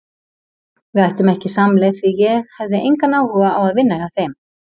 Við ættum ekki samleið því ég hefði engan áhuga á að vinna hjá þeim.